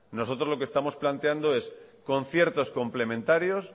nosotros lo que estamos planteamos es conciertos complementarios